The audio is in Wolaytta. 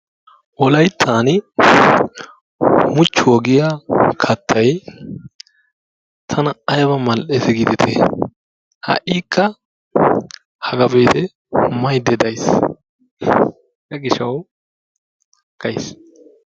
Wolayttan muchchuwa giya kattay tana aybba mal'ees giidetti. Ha''ikka hagaa be'itte maydda de'aysi. Hegaa gishawu gays.